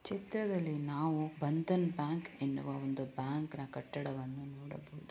ಚಿತ್ರದಲ್ಲಿ ನಾವು ಬಂಧನ್‌ ಬ್ಯಾಂಕ್‌ ಎನ್ನುವ ಒಂದು ಬ್ಯಾಂಕ್‌ನ ಕಟ್ಟಡವನ್ನು ನೋಡಬಹುದು